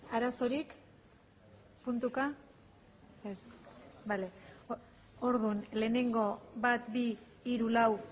arazorik puntuka ez bale orduan lehenengo bat bi hiru lau